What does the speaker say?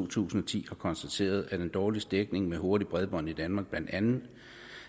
to tusind og ti har konstateret at den dårligste dækning med hurtigt bredbånd i danmark blandt andet